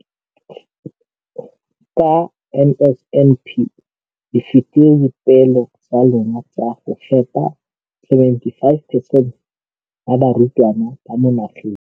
Ka NSNP le fetile dipeelo tsa lona tsa go fepa masome a supa le botlhano a diperesente ya barutwana ba mo nageng.